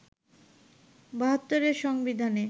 ৭২ এর সংবিধানে